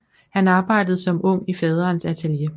Han arbejdede som ung i faderens atelier